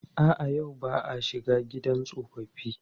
A'a, yau ba a shiga gidan tsofaffi.